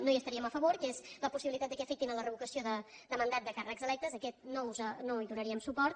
no hi estaríem a favor que és la possibilitat que afectin la revocació de mandat de càrrecs electes a aquest no hi donaríem suport